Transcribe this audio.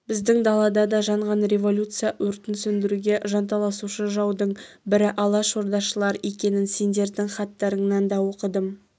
біздің далада да жанған революция өртін сөндіруге жанталасушы жаудың бірі алашордашылар екенін сендердің хаттарыңнан да оқыдым